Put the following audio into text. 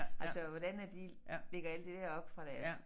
Altså hvordan at de lægger alt det der op fra deres